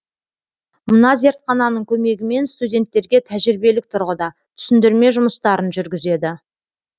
мына зертхананың көмегімен студенттерге тәжірибелік тұрғыда түсіндірме жұмыстарын жүргізеді